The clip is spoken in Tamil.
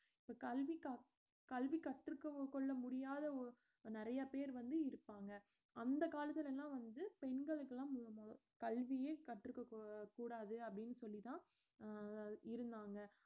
கல்விக்கா~ கல்வி கற்றுக்கொ~ கொள்ள முடியாத ஓ~ நிறைய பேர் வந்து இருப்பாங்க அந்த காலத்துல எல்லாம் வந்து பெண்களுக்கெல்லாம் கல்வியே கற்றுக்ககூ~ ~கூடாது அப்படினு சொல்லித்தான் அஹ் இருந்தாங்க